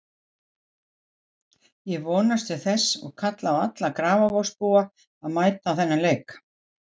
Ég vonast til þess og kalla á alla Grafarvogsbúa að mæta á þennan leik.